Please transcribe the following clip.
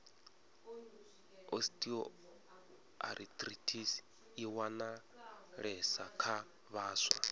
osteoarithritis i wanalesa kha vhaswa